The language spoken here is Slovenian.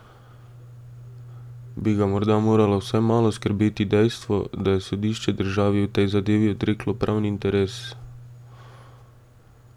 Bi ga morda moralo vsaj malo skrbeti dejstvo, da je sodišče državi v tej zadevi odreklo pravni interes?